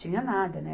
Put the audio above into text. Tinha nada, né?